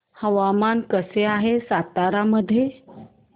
हवामान कसे आहे सातारा मध्ये